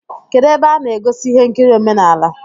Kedụ ebe a na egosi ihe nkiri omenala?